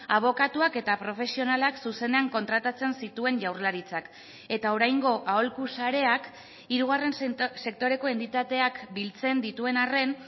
abokatuak eta profesionalak zuzenean kontratatzen zituen jaurlaritzak eta oraingo aholku sareak hirugarren sektoreko entitateak biltzen dituen arren